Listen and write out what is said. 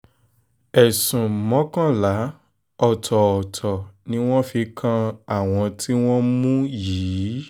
ẹ̀sùn mọ́kànlá ọ̀tọ̀ọ̀tọ̀ ni wọ́n fi kan àwọn tí wọ́n mú yìí